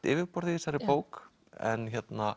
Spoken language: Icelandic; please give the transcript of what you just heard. yfirborð í þessari bók en